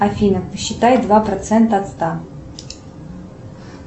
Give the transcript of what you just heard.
афина посчитай два процента от ста